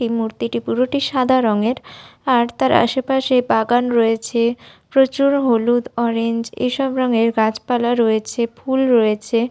সেই মূর্তিটি পুরোটি সাদা রংয়ের আর তার আশে পাশে বাগান রয়েছে প্রচুর হলুদ অরেঞ্জ এসব রঙের গাছপালা রয়েছে ফুল রয়েছে।